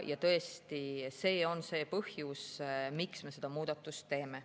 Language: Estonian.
Tõesti, see on see põhjus, miks me seda muudatust teeme.